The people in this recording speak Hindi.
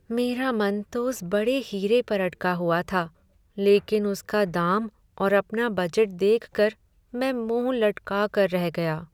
मेरा मन तो उस बड़े हीरे पर अटका हुआ था लेकिन उसका दाम और अपना बजट देखकर मैं मुँह लटका कर रह गया।